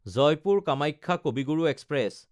জয়পুৰ–কামাখ্যা কবি গুৰু এক্সপ্ৰেছ